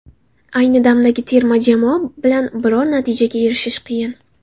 Ayni damdagi terma jamoa bilan biror natijaga erishish qiyin.